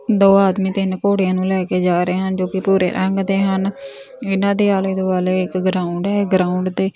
ਦੋ ਆਦਮੀ ਤਿੰਨ ਘੋੜਿਆਂ ਨੂੰ ਲੈ ਕੇ ਜਾ ਰਹੇ ਹਨ ਜੋ ਕਿ ਭੂਰੇ ਰੰਗ ਦੇ ਹਨ ਇਹਨਾਂ ਦੇ ਆਲੇ ਦੁਆਲੇ ਇੱਕ ਗਰਾਊਂਡ ਹੈ ਗਰਾਊਂਡ ਤੇ--